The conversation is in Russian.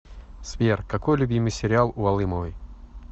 сбер какой любимый сериал у алымовой